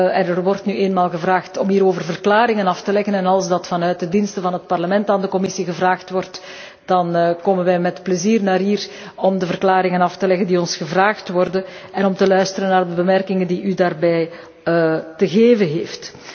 Er wordt nu eenmaal gevraagd om hierover verklaringen af te leggen en als dat vanuit de diensten van het Parlement aan de Commissie gevraagd wordt, dan komen wij met plezier hiernaartoe om de verklaringen af te leggen waarom ons gevraagd werd en om te luisteren naar de opmerkingen die u daarover maakt.